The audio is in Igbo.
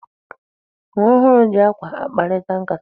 Nwa ọhụrụ ji akwa akparịta nkata.